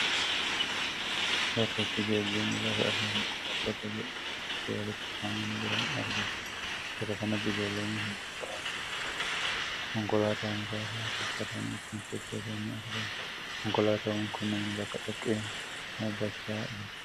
Bakka itti geejjibni lafa irraa konkolaattota jedhaman itti walitti qabamanii jiran argina. Bakka kanatti ijoollonni hojii ba'aawwan garaa garaa konkolaataa muka irraa tolfatanii ittiin sochoosanis ni argamu. Konkolaatwwan kunneen bakka dhoqqee dhaabachaa jiru.